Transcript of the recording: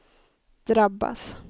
drabbas